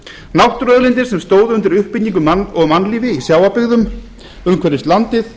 náttúruauðlindir sem stóðu undir uppbyggingu og mannlífi í sjávarbyggðum umhverfis landið